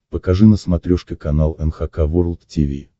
покажи на смотрешке канал эн эйч кей волд ти ви